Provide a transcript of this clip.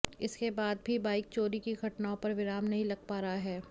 इसके बाद भाी बाईक चोरी की घटनाओं पर विराम नहीं लग पा रहा है